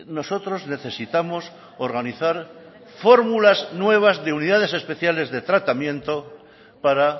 nosotros necesitamos organizar fórmulas nuevas de unidades especiales de tratamiento para